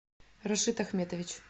рашит ахметович